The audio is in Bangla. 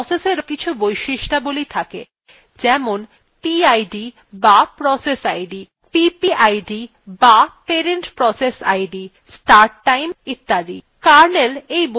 অনুরূপভাবে processএরও কিছু বৈশিষ্ট্যাবলী থাকে যেমনpid বা process id ppid বা parent process id start time ইত্যাদি